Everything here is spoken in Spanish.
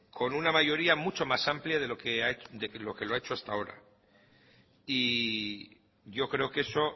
con una mayoría mucho más amplia de lo que lo ha hecho hasta ahora y yo creo que eso